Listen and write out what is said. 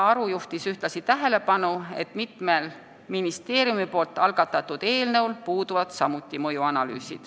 Ta juhtis ühtlasi tähelepanu, et mitmel ministeeriumi algatatud eelnõul puudub samuti mõjuanalüüs.